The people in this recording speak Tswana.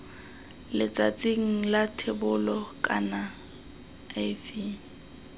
letsatsing la thebolo kana iv